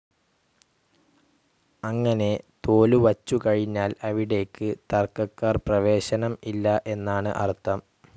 അങ്ങനെ തോലുവച്ചുകഴിഞ്ഞാൽ അവിടേക്ക് തർക്കക്കാർക്ക് പ്രവേശനം ഇല്ല എന്നാണ് അർഥം.